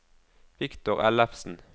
Viktor Ellefsen